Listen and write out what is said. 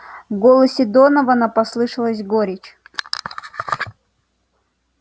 в голосе донована послышалась горечь